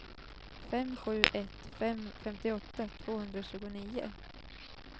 fem sju ett fem femtioåtta tvåhundratjugonio